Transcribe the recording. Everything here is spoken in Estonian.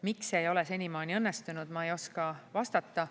Miks see ei ole senimaani õnnestunud, ma ei oska vastata.